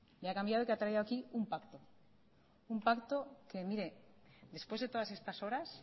le ha cambiado que ha traído aquí un pacto un pacto que mire después de todas estas horas